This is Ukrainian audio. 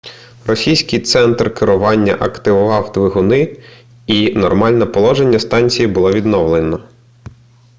російський центр керування активував двигуни і нормальне положення станції було відновлено